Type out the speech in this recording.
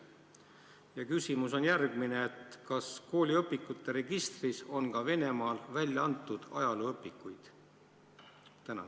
Ja küsimus on järgmine: kas kooliõpikute registris on ka Venemaal välja antud ajalooõpikuid?